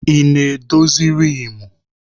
Ị na-edozi riimu?